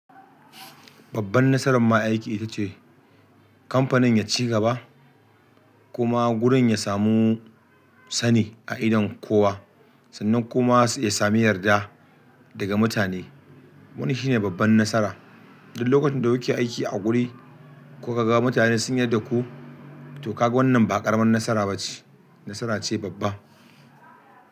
Babban nasaran ma aiki ita ce kamfanin ya ci gaba kuma gurin ya samu sani a idon kowa sannan kuma ya sami yarda daga mutane. Wannan shi ne babban nasara. Dan lokacin da kuke aiki a guri ko ka ga mutane sun yarda da ku to kaga wannan ba ƙaramin nasara ba ce, nasara ce babba.